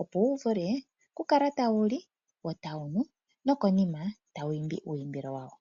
opo wu vule okukala tawu li wo tawu nu nokonima tawu imbi uuyimbilo wawo.